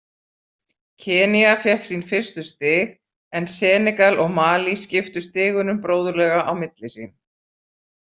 Kenýa fékk sín fyrstu stig en Senegal og Malí skiptu stigunum bróðurlega á milli sín.